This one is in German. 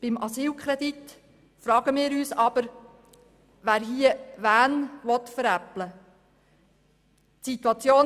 Beim Asylkredit fragen wir uns aber, wer hier wen veräppeln will.